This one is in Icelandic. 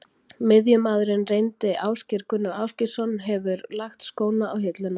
Miðjumaðurinn reyndi Ásgeir Gunnar Ásgeirsson hefur lagt skóna á hilluna.